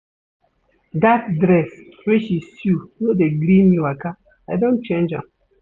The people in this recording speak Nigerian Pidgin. Dat dress wey she sew no dey gree me waka, I don change am.